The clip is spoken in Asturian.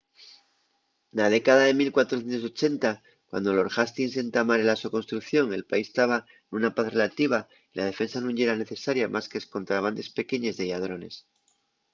na década de 1480 cuando lord hastings entamare la so construcción el país taba nuna paz relativa y la defensa nun yera necesaria más qu’escontra bandes pequeñes de lladrones